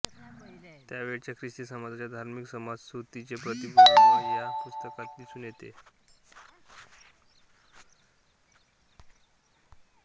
त्यावेळच्या ख्रिस्ती समाजाच्या धार्मिक समजुतीचे प्रतिबिब या पुस्तकात दिसून येते